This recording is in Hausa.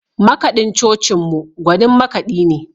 Makaɗin cocinmu gwanin makaɗi ne.